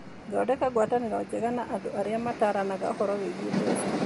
Thondeka ngwatanĩro njega na andũ arĩa mataaranaga ũhoro wĩgiĩ mbeca.